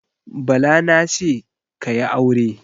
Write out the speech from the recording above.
Bala na ce, "ka yi aure".